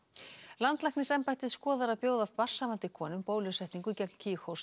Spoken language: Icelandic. landlæknisembættið skoðar að bjóða barnshafandi konum bólusetningu gegn